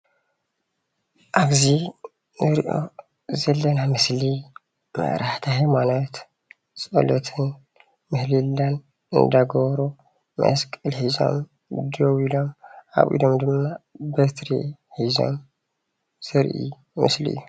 ኣብዚ እንሪኦ ዘለና ምስሊ መራሕቲ ሃይማኖት ጸሎትን፣ ምህለላን እንዳገበሩ መስቀል ሒዞም ደው ኢሎም ኣብ ኢድም ድማ በትሪ ሒዞም ዘርኢ ምስሊ እዩ።